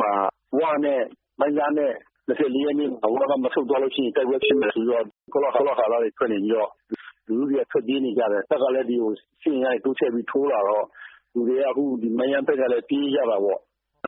မှာ ဝနဲ့ မိုင်းလားနဲ့ ဟိုဘက်က မဆုတ်သွားရင် တိုက်ပွဲဖြစ်မယ်ဆိုပြီးတော့ ကောလဟာလတွေ ထွက်နေပြီးတော့ လူထုတွေထွက်ပြေးနေတယ်။ တပ်ကလည်း စစ်အင်အားတွေတိုးချဲ့ပြီးတော့တိုးလာတော့ လူတွေက မိုင်းယန်းဘက်က ပြေးကြတာ